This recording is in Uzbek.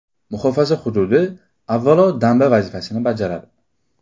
Muhofaza hududi, avvalo, damba vazifasini bajaradi.